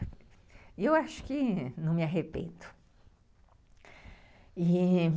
E eu acho que não me arrependo. E